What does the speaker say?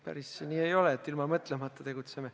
Päris nii ei ole, et me ilma mõtlemata tegutseme.